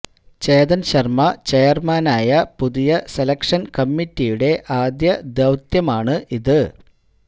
ചേതൻ ശർമ്മ ചെയർമാനായ പുതിയ സെലക്ഷൻ കമ്മറ്റിയുടെ ആദ്യ ദൌത്യമാണ് ഇത്